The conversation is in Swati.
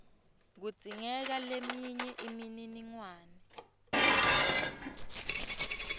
kudzingeka leminye imininingwane